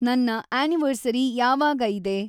ನನ್ನ ಆ್ಯನಿವರ್ಸರಿ ಯಾವಾಗ ಇದೆ?